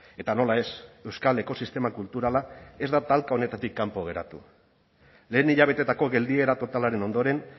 eta nola ez euskal ekosistema kulturala ez da talka honetatik kanpo geratu lehen hilabetetako geldiera totalaren ondoren